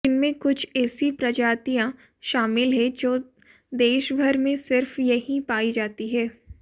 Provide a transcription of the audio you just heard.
जिनमें कुछ ऐसी प्रजातियां शामिल हैं जो देशभर में सिर्फ यहीं पाई जाती हैं